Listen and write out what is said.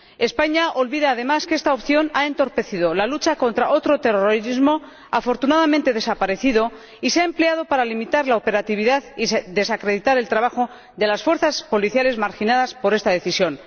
España olvida además que esta opción ha entorpecido la lucha contra otro terrorismo ―afortunadamente desaparecido― y se ha empleado para limitar la operatividad y desacreditar el trabajo de las fuerzas policiales marginadas por esta decisión.